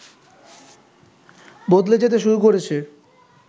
বদলে যেতে শুরু করেছে